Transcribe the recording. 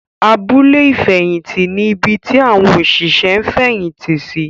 Abúlé ìfẹ̀yìntì ní ibi tí àwọn òṣìṣẹ́ ń fẹ̀yìntì sí.